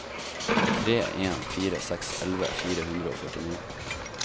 tre en fire seks elleve fire hundre og førtini